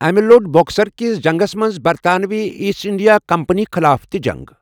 امہِ لوٚڑ بکسر کِس جنٛگس منٛز برطانوی ایٖسٹ اِنٛڈیا کمپٔنی خٕلاف تہِ جنٛگ۔